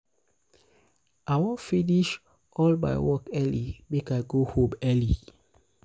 i wan finish all finish all my work early make i go home early.